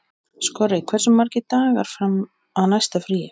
Skorri, hversu margir dagar fram að næsta fríi?